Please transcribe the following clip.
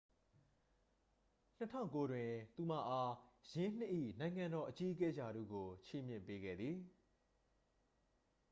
2009 တွင် သူမအား ယင်းနှစ်၏ နိုင်ငံတော် အကြီးအကဲ ရာထူးကို ချီးမြှင့်ပေးခဲ့သည်